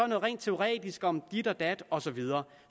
noget rent teoretisk om dit og dat og så videre